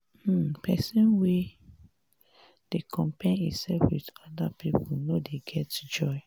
um pesin wey dey compare imsef wit oda pipo no dey get joy.